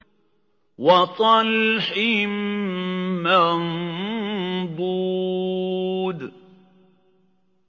وَطَلْحٍ مَّنضُودٍ